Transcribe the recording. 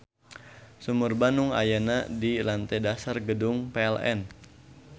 Sumur Bandung ayana di lantei dasar Gedung PLN.